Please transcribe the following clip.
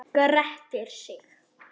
Grettir sig.